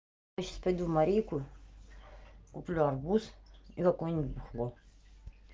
я сейчас пойду в марийку куплю арбуз и какое-нибудь бухло